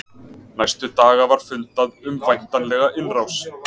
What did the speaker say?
Næstu daga var mikið fundað um væntanlega innrás.